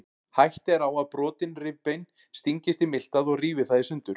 Hætta er á að brotin rifbein stingist í miltað og rífi það í sundur.